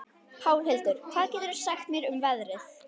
Pálhildur, hvað geturðu sagt mér um veðrið?